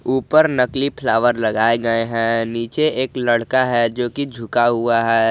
ऊपर नकली फ्लावर लगाए गए हैं नीचे एक लड़का है जोकि झुका हुआ है।